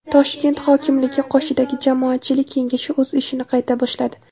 Toshkent hokimligi qoshidagi Jamoatchilik kengashi o‘z ishini qayta boshladi.